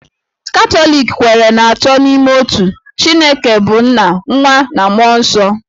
Katọlik kweere n'Atọ n'Ime Otu; Chineke bụ́ nna, nwa, na mmụọ nsọ.